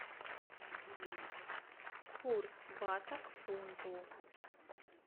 курс бата к фунту